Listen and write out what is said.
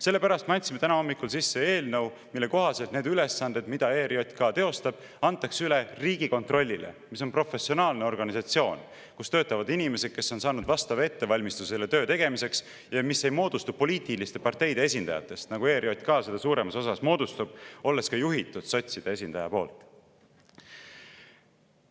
Sellepärast me andsime täna hommikul sisse eelnõu, mille kohaselt need ülesanded, mida ERJK teostab, antakse üle Riigikontrollile, mis on professionaalne organisatsioon, kus töötavad inimesed, kes on saanud vastava ettevalmistuse selle töö tegemiseks, ja mis ei moodustu poliitiliste parteide esindajatest, nagu ERJK suuremas osas moodustub, olles ka juhitud sotside esindaja poolt.